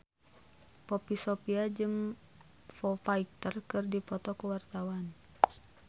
Poppy Sovia jeung Foo Fighter keur dipoto ku wartawan